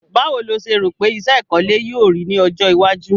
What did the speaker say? Báwo lo se rò pe isẹ́ ìkọ́lé yio rí ni ojó iwájú